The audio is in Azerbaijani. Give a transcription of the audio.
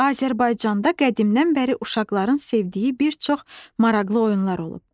Azərbaycanda qədimdən bəri uşaqların sevdiyi bir çox maraqlı oyunlar olub.